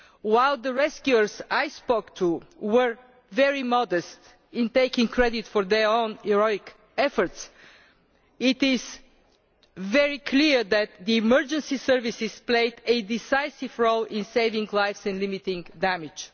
While the rescuers I spoke to were very modest in taking credit for their heroic efforts, it is very clear that the emergency services played a decisive role in saving lives and limiting damage.